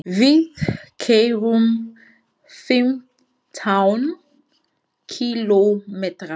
Við keyrum fimmtán kílómetra.